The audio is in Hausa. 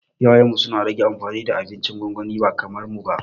Iyayenmu suna rage amfani da abincin gwangwani ba kamar mu ba